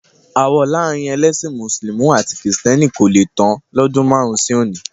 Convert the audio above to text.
Aáwọ̀ láàrin ẹlẹ́sìn mùsùlùmí àti kìrìsìtẹ́nì kò le tán lọ́dún márùn-ún sí òní.